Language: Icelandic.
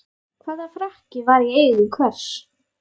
Hvaða frakki var í eigu hvers?